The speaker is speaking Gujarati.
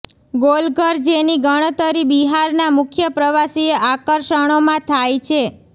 ગોલઘર જેની ગણતરી બિહારના મુખ્ય પ્રવાસીય આકર્ષણોમાં થાય છે